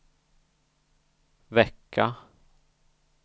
vecka